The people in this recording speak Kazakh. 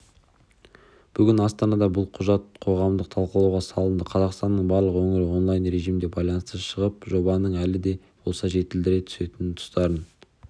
бүгін астанада бұл құжат қоғамдық талқылауға салынды қазақстанның барлық өңірі онлайн режимде байланысқа шығып жобаның әлі де болса жетілдіре түсетін тұстарын